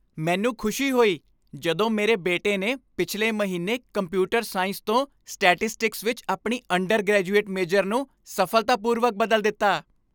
ਮੈਨੂੰ ਖੁਸ਼ੀ ਹੋਈ ਜਦੋਂ ਮੇਰੇ ਬੇਟੇ ਨੇ ਪਿਛਲੇ ਮਹੀਨੇ ਕੰਪਿਊਟਰ ਸਾਇੰਸ ਤੋਂ ਸਟੈਟਿਸਟਿਕਸ ਵਿੱਚ ਆਪਣੀ ਅੰਡਰਗਰੈਜੂਏਟ ਮੇਜਰ ਨੂੰ ਸਫ਼ਲਤਾਪੂਰਵਕ ਬਦਲ ਦਿੱਤਾ।